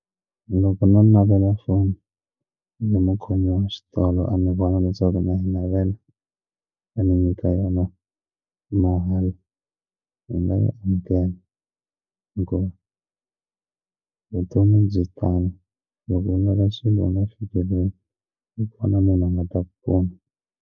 Loko no navela foni na mukhomi wa xitolo a ni vona leswaku na yi navela a ni nyika yona mahala hi ndzi nga yi amukela hikuva vutomi byi tano loko u ngana swilo u nga fikeleli yi pfuna munhu a nga ta ku pfuna.